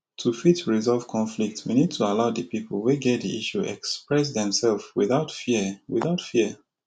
to fit resolve conflict we need to allow di people wey get di issue express themselve without fear without fear